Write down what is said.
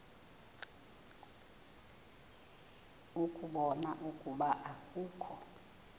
ukubona ukuba akukho